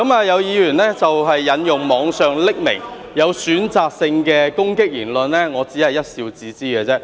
有議員引用網上匿名、有選擇性的攻擊言論，我只是一笑置之。